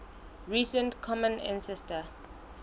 recent common ancestor